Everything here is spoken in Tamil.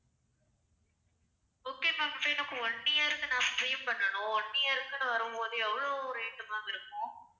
okay ma'am. இப்போ எனக்கு one year க்கு நான் stream பண்ணணும். one year க்குன்னு வரும்போது எவ்ளோ rate ma'am இருக்கும்?